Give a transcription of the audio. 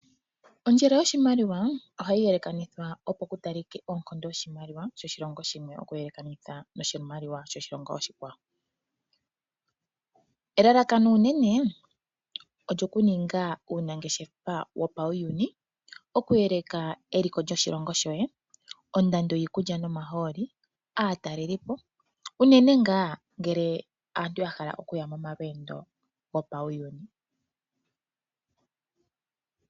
Ondjele yoshimaliwa ohayi yelekanithwa, opo ku talike oonkondo dhoshimaliwa yoshilongo shimwe okuyelekanitha noshimaliwa shoshilongo oshikwawo, elalakano unene olyokuninga uunangeshefa wopauyuni, okuyeleka eliko lyoshilongo shoye, ondando yiikulya nomahooli, aatalelipo, unene ngaa ngele aantu ya hala okuya momalweendo gopauyuni.